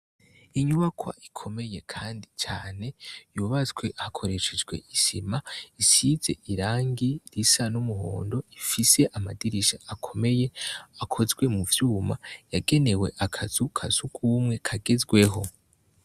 Inyubakwa ikomeye kandi cane, yubatswe hakoreshejwe isima isize irangi risa n'umuhondo ifis'amabara akomeye akozwe mu vyuma, yagenewe akazu kasugumwe kagezweho.